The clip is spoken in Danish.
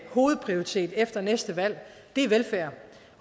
hovedprioritet efter næste valg er velfærd